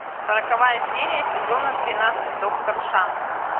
сороковая серия сезона тринадцать доктор шанс